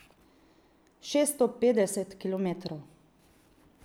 Šeststo petdeset kilometrov!